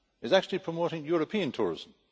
It is actually promoting European tourism.